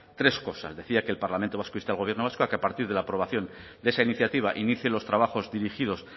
tres cosas decía que el parlamento vasco inste al gobierno vasco a que a partir de la aprobación de esa iniciativa inicie los trabajos dirigidos